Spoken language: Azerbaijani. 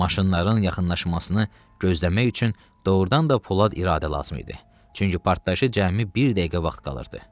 Maşınların yaxınlaşmasını gözləmək üçün doğrudan da polad iradə lazım idi, çünki partlayışa cəmi bir dəqiqə vaxt qalırdı.